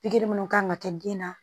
Pikiri minnu kan ka kɛ den na